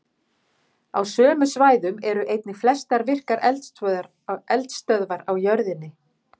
Á sömu svæðum eru einnig flestar virkar eldstöðvar á jörðinni.